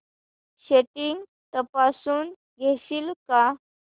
settings तपासून घेशील का